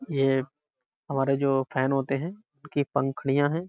ये हमारे जो फैन होते हैं उनकी पंखुड़ियाँ हैं।